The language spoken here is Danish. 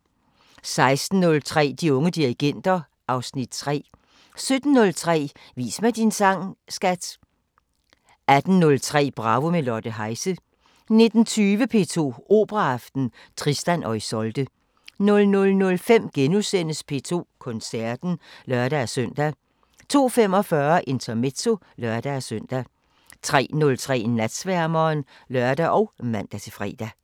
16:03: De unge dirigenter (Afs. 3) 17:03: Vis mig din sang, skat! 18:03: Bravo – med Lotte Heise 19:20: P2 Operaaften: Tristan og Isolde 00:05: P2 Koncerten *(lør-søn) 02:45: Intermezzo (lør-søn) 03:03: Natsværmeren (lør og man-fre)